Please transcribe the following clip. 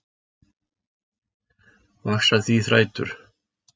Vaxa því þrætur